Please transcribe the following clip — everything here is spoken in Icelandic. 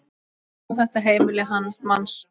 Og sjá þetta heimili manns.